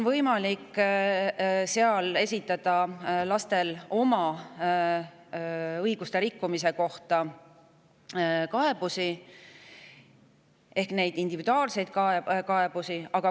Lastel on selle kohaselt võimalik oma õiguste rikkumise kohta esitada individuaalseid kaebusi.